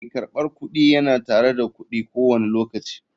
Mai karbar kudi yana tare da kudi ko wani lokaci.